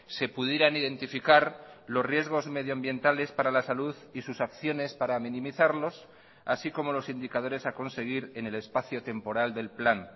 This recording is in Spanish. se pudieran identificar los riesgos medioambientales para la salud y sus acciones para minimizarlos así como los indicadores a conseguir en el espacio temporal del plan